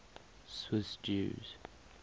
swiss jews